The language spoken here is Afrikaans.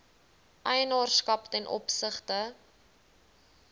eienaarskap ten opsigte